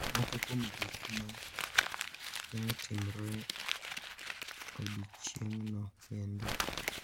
Moko kuom gik ma ne otimore e odiechieng’no kendo.